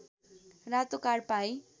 रातो कार्ड पाइ